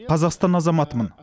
қазақстан азаматымын